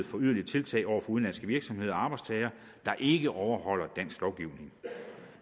for yderligere tiltag over for udenlandske virksomheder og arbejdstagere der ikke overholder dansk lovgivning